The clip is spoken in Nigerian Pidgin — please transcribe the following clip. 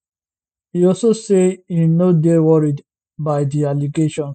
e also say e no dey worried by di allegations